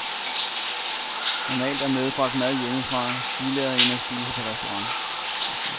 Normalt er medbragt mad hjemmefra, billigere end at spise på restauration.